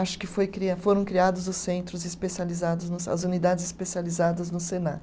Acho que foi cria, foram criados os centros especializados nos, as unidades especializadas no Senac.